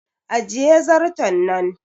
Ajiye zarton nan!